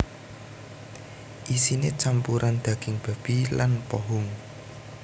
Isiné campuran daging babi lan pohung